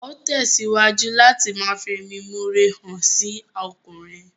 Á ó tẹ̀síwájú láti ma fẹ̀mímọre hàn sí ọkùnrin